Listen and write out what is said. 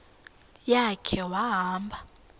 ya khe wahamba